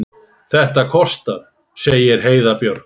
Þetta kostar, segir Heiða Björg.